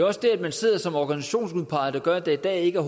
også det at man sidder som organisationsudpeget der gør at der i dag ikke